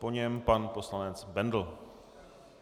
Po něm pan poslanec Bendl.